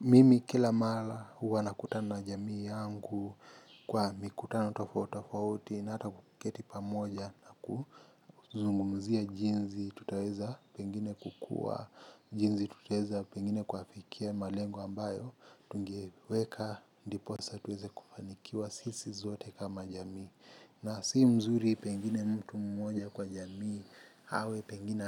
Mimi kila mara huwa nakutana na jamii yangu kwa mikutano tofautitofauti na hata kuketi pamoja na kuzungumzia jinsi tutaweza pengine kukua jinsi tutaweza pengine kuafikia malengo ambayo tungeweka ndiposa tuweze kufanikiwa sisi sote kama jamii. Na si mzuri pengine mtu mmoja kwa jamii, hawe pengine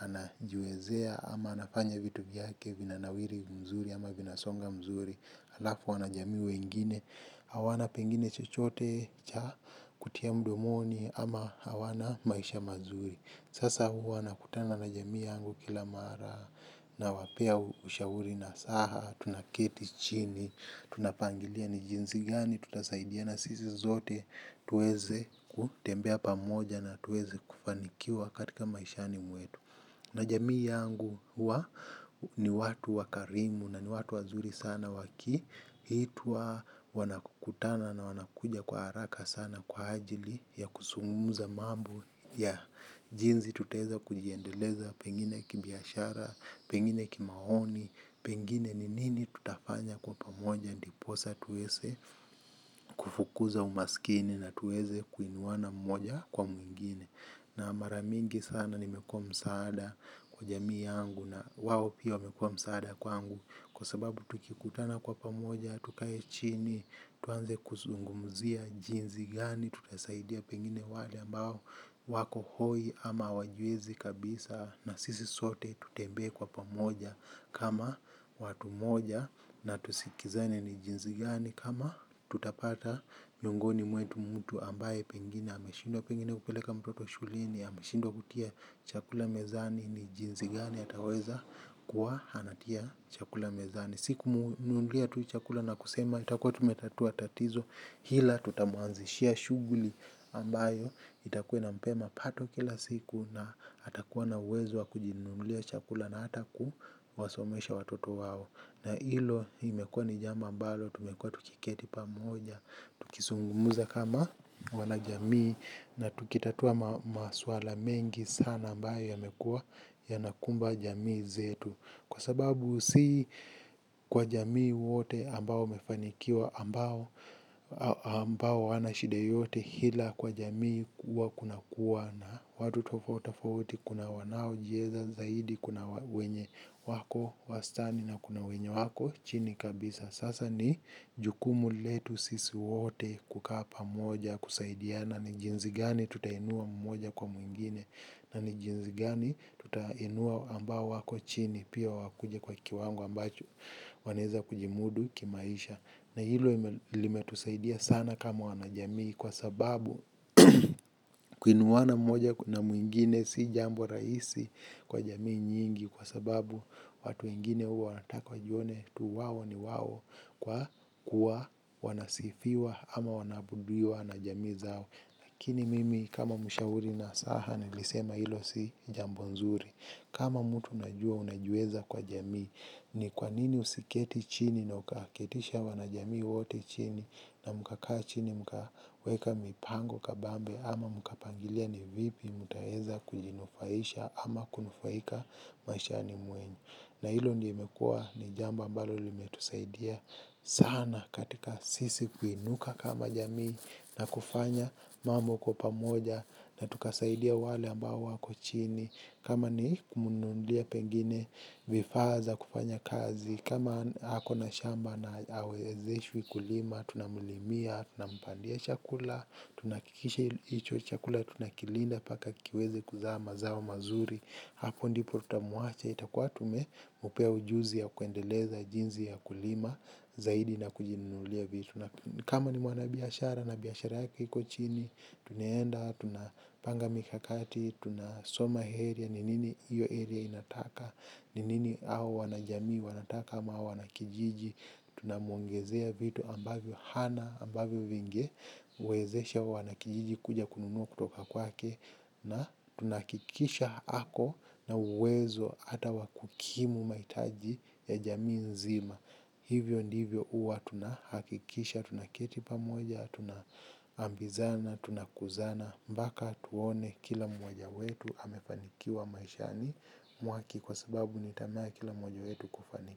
anajiwezea ama anafanya vitu vyake vinanawiri mzuri ama vinasonga mzuri. Alafu wanajamii wengine, hawana pengine chochote, cha kutia mdomoni ama hawana maisha mazuri. Sasa huwa nakutana na jamii yangu kila mara nawapea ushauri nasaha, tunaketi chini, tunapangilia ni jinsi gani tutasaidia na sisi zote tuweze kutembea pamoja na tuweze kufanikiwa katika maishani mwetu. Na jamii yangu huwa ni watu wakarimu na ni watu wazuri sana waki itwa wanakukutana na wanakuja kwa haraka sana kwa ajili ya kusungumuza mambo ya jinsi tutaeza kujiendeleza. Pengine kibiashara, pengine kimaoni pengine ni nini tutafanya kwa pamoja ndiposa tuweze kufukuza umasikini na tuweze kuinuana mmoja kwa mwingine na maramingi sana nimekua msaada kwa jamii yangu na wawo pia wamekua msaada kwangu kwa sababu tukikutana kwa pamoja tukae chini, tuanze kuzungumzia jinzi gani, tutasaidia pengine wale ambao wako hoi ama hawajiwezi kabisa na sisi sote tutembee kwa pamoja. Kama watu moja na tusikizane ni jinzi gani kama tutapata miongoni mwetu mtu ambaye pengine ameshindwa pengine kupeleka mtoto shuleni ameshindwa kutia chakula mezani ni jinzi gani ataweza kuwa anatia chakula mezani. Si kumnumulia tu chakula na kusema itakuwa tumetatua tatizo ila tutamuanzishia shughuli ambayo itakuwa inampea mapato kila siku na atakuwa na uwezo wa kujinunulia chakula na hata kuwasomesha watoto wao. Na ilo, hii imekua ni jambo ambalo, tumekua tukiketi pamoja, tukisungumuza kama wanajamii, na tukitatua maswala mengi sana ambayo yamekua yanakumba jamii zetu. Kwa sababu si kwa jamii wote ambao wamefanikiwa ambao hawana shida yoyote hila kwa jamii huwa kunakuwa na watu tofautitofauti kuna wanaojieza zaidi kuna wenye wako wastani na kuna wenye wako chini kabisa. Sasa ni jukumu letu sisi wote kukaa pamoja kusaidiana ni jinzi gani tutainua mmoja kwa mwingine na ni jinzi gani tutainua ambao wako chini pia wakuje kwa kiwango ambacho wanaeza kujimudu kimaisha. Na hilo limetusaidia sana kama wanajamii kwa sababu kuinuana moja na mwingine si jambo rahisi kwa jamii mingi kwa sababu watu wengine huwa wanataka wajione mtu wao ni wao kwa kua wanasifiwa ama wanaabudiwa na jamii zao. Lakini mimi kama mshauri nasaha nilisema ilo si jambo nzuri. Kama mtu unajua unajiweza kwa jamii. Ni kwa nini usiketi chini na ukaketisha wanajamii wote chini. Na mkakaa chini mkaweka mipango kabambe. Ama mkapangilia ni vipi mutaweza kujinufaisha ama kunufaika maishani mwenu. Na hilo ndio imekua ni jambo ambalo limetusaidia sana katika sisi kuinuka kama jamii na kufanya mambo kwa pamoja na tukasaidia wale ambao wako chini. Kama ni kumnunulia pengine vifaa za kufanya kazi. Kama ako na shamba na hawezeshwi kulima, tunamlimia, tunampandia chakula, tunahakikisha hicho chakula, tunakilinda mpaka kiweze kuzaa mazao mazuri. Hapo ndipo utamuwache itakuwa tumempea ujuzi ya kuendeleza jinzi ya kulima, zaidi na kujinunulia vitu. Kama ni mwanabiashara, na biashara yake iko chini, tunaenda, tunapanga mikakati, tunasoma area, ni nini hiyo area inataka, ni nini hao wanajamii wanataka ama wanakijiji. Tunamuongezea vitu ambavyo hana, ambavyo vingewezesha hao wanakijiji kuja kununua kutoka kwake na tunahakikisha ako na uwezo hata wa kukimu mahitaji ya jamii nzima. Hivyo ndivyo uwa tuna hakikisha, tunaketi pamoja, tunaambizana, tunakuzana, mbaka tuone kila mmoja wetu hamefanikiwa maishani mwake kwa sababu ni tamaa ya kila mmoja wetu kufaniki.